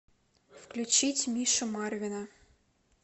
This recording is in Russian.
включить мишу марвина